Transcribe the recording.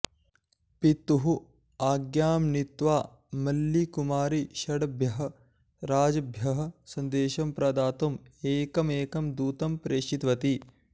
पितुः आज्ञां नीत्वा मल्लिकुमारी षड्भ्यः राजभ्यः सन्देशं प्रदातुम् एकमेकं दूतं प्रेषितवती